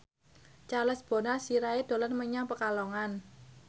Charles Bonar Sirait dolan menyang Pekalongan